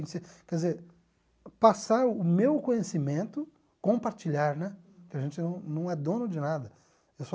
Quer dizer, passar o meu conhecimento, compartilhar, né, porque a gente não não é dono de nada.